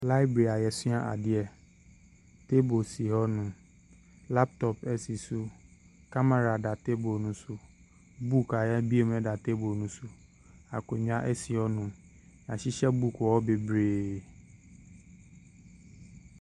Library a yɛsua adeɛ, table si hɔnom, laptop si so, camera da table ne so, book a yɛabue mu da table ne so akonnwa si hɔnom. Yɛahyehyɛ book wɔ hɔ bebree.